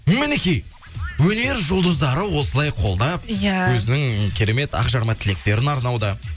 мінекей өнер жұлдыздары осылай қолдап иә өзінің керемет ақжарма тілектерін арнауда